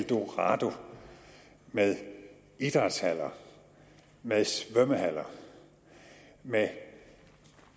eldorado med idrætshaller med svømmehaller med